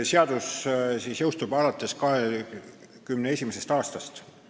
Seadus jõustub 2021. aastal.